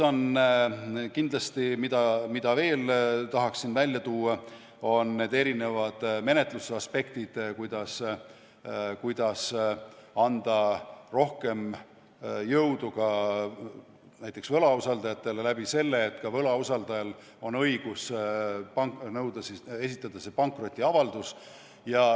Kindlasti tahaksin veel esile tuua menetluse eri aspekte, näiteks, kuidas anda rohkem jõudu võlausaldajatele sellega, et ka võlausaldajal on õigus esitada pankrotiavaldust.